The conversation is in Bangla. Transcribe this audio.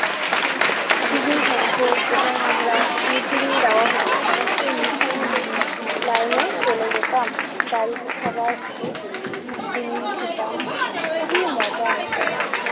টিফিন থাকতো এবং আমরা মিডডিমিল দেওয়া হতো আমরা সেই মিডডিমিলের line এ চলে যেতাম। দাঁড়িয়ে সবাই মিলে মিডডিমিল খেতাম। খুবই মজা হতো।